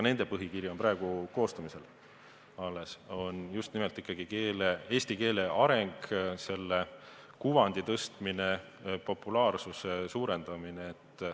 Nende põhikiri on praegu koostamisel, aga just nimelt ikkagi eesti keele areng, selle kuvandi tõstmine, populaarsuse suurendamine.